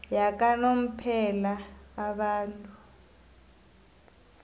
yakanomphela abantu